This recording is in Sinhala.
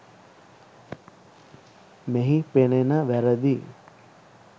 මෙහි පෙනෙන වැරැදි